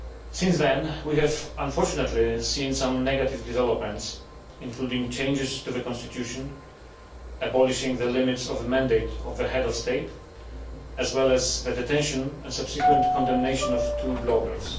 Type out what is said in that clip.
Since then, we have unfortunately seen some negative developments, including changes to the Constitution, the abolition of limits on the mandate of the Head of State, as well as the detention and subsequent condemnation of two bloggers.